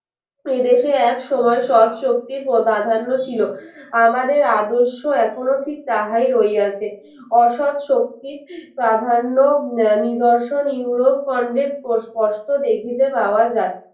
এদেশে এক সময় সব শক্তির প্রধা প্রাধান্য ছিল আমাদের আদর্শ এখনো ঠিক তাহাই রইয়াছে অসৎ শক্তি প্রাধান্য আহ নিদর্শন ইউরোপকন্ডের স্পষ্ট দেখিতে পাওয়া যায়